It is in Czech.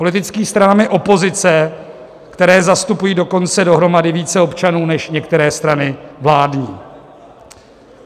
Politickými stranami opozice, které zastupují dokonce dohromady více občanů než některé strany vládní.